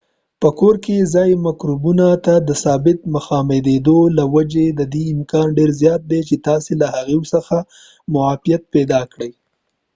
په کور کې ځایي مکروبونو ته د ثابت مخامخیدو له وجې ددې امکان ډیر زیات دی چې تاسې له هغوی څخه معافیت پیدا کړی